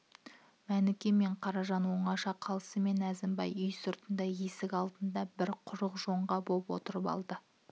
мәніке мен қаражан оңаша қалысымен әзімбай үй сыртында есік алдында бір құрық жонған боп отырып алды